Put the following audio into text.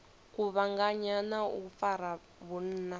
kuvhanganya na u fara vhunna